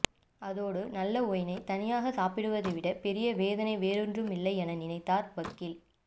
அதோடு நல்ல ஒயினைத் தனியாகச் சாப்பிடுவதை விடப் பெரிய வேதனை வேறொன்றுமில்லை என நினைத்தார் வக்கீல்